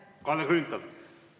Kalle Grünthal, palun!